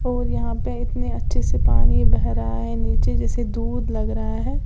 और यहां पे इतने अच्छे से पानी बह रहा है नीचे जैसे दूध लग रहा है।